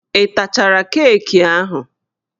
Ị tachara keeki ahụ?